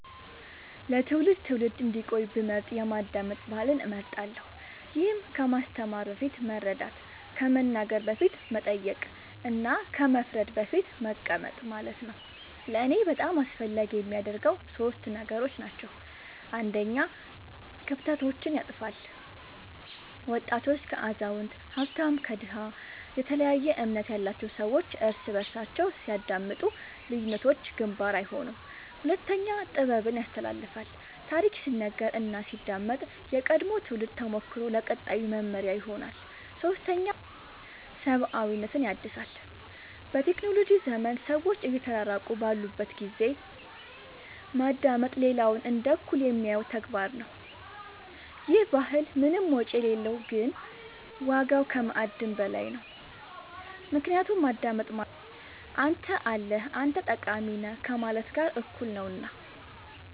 ለትውልድ ትውልድ እንዲቆይ ብመርጥ የማዳመጥ ባህልን እመርጣለሁ ይህም ከማስተማር በፊት መረዳት ከመናገር በፊት መጠየቅ እና ከመፍረድ በፊት መቀመጥ ማለት ነው ለእኔ በጣም አስፈላጊ የሚያደርገው ሶስት ነገሮች ናቸው አንደኛ ክፍተቶችን ያጥፋል ወጣት ከአዛውንት ሀብታም ከድሃ የተለያየ እምነት ያላቸው ሰዎች እርስ በርሳቸው ሲያዳምጡ ልዩነቶች ግንባር አይሆኑም ሁለተኛ ጥበብን ያስተላልፋል ታሪክ ሲነገር እና ሲዳመጥ የቀድሞው ትውልድ ተሞክሮ ለቀጣዩ መመሪያ ይሆናል ሶስተኛ ሰብአዊነትን ያድሳል በቴክኖሎጂ ዘመን ሰዎች እየተራራቁ ባሉበት ጊዜ ማዳመጥ ሌላውን እንደ እኩል የሚያየው ተግባር ነው ይህ ባህል ምንም ወጪ የሌለው ግን ዋጋው ከማዕድን በላይ ነው ምክንያቱም ማዳመጥ ማለት አንተ አለህ አንተ ጠቃሚ ነህ ከማለት ጋር እኩል ነውና